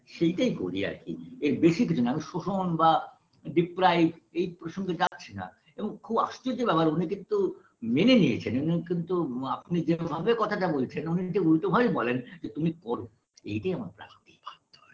সেইটাই করি আর কি আর বেশি কিছু না শোষণ বা deprive এই প্রসঙ্গে যাচ্ছি না এবং খুব আশ্চর্য লাগে উনি কিন্তু মেনে নিয়েছেন উনি কিন্তু আপনি যেভাবে কথাটা বলছেন উনি উল্টোভাবেই বলেন যে তুমি করো এটাই আমার আপত্তি হয়